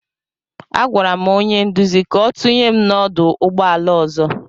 Agwara m onye nduzi ka ọ tụnye m n'ọdụ ụgbọ ala ọzọ.